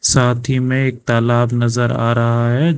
साथ ही में एक तालाब नजर आ रहा है।